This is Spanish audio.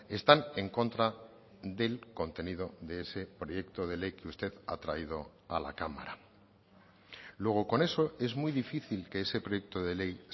están en contra del contenido de ese proyecto de ley que usted ha traído a la cámara luego con eso es muy difícil que ese proyecto de ley